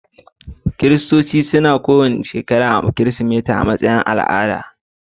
Kiristanci na bikin Kirsimeti kowace shekara a matsayin al'ada